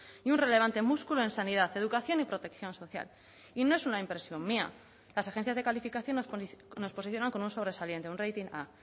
y un relevante músculo en sanidad educación y protección social y no es una impresión mía las agencias de calificación nos posicionan con un sobresaliente un rating a